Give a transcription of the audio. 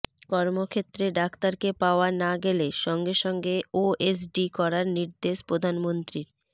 কর্মক্ষেত্রে ডাক্তারকে পাওয়া না গেলে সঙ্গে সঙ্গে ওএসডি করার নির্দেশ প্রধানমন্ত্রীর